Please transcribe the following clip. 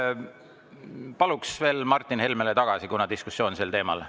Paluks veel Martin Helmele tagasi, kuna meil on diskussioon sel teemal.